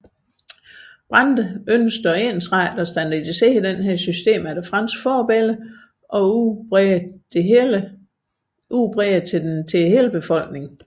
Brandes ønskede at ensrette og standardisere dette system efter fransk forbillede og udbrede det til hele befolkningen